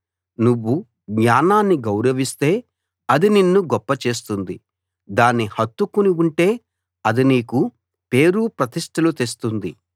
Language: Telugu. నువ్వు జ్ఞానాన్ని గౌరవిస్తే అది నిన్ను గొప్ప చేస్తుంది దాన్ని హత్తుకుని ఉంటే అది నీకు పేరు ప్రతిష్టలు తెస్తుంది